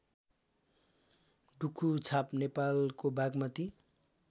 डुकुछाप नेपालको बागमती